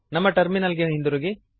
ನಮ್ಮ ಟರ್ಮಿನಲ್ ಗೆ ಹಿಂದಿರುಗಿರಿ